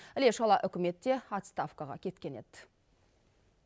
іле шала үкімет те отставкаға кеткен еді